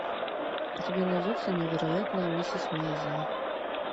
у тебя найдется невероятная миссис мейзел